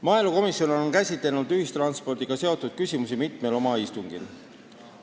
Maaelukomisjon on käsitlenud ühistranspordiga seotud küsimusi mitmel istungil.